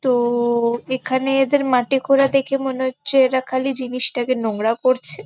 তো-ও-ও এখানে এদের মাটি খোঁড়া দেখে মনে হচ্ছে এরা খালি জিনিসটাকে নোংরা করছে ।